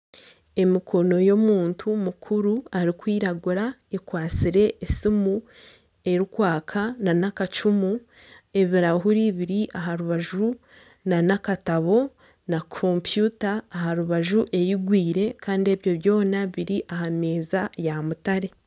Emikono y'omuntu mukuru arikwiragura ekwatsire esiimu erikwaka n'akacumu ebirahuuri biri aha rubaju n'akatabo na kompyuta aha rubaju eigwire kandi ebi byona biri aha meeza ya mutare.